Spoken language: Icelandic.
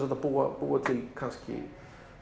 búa búa til kannski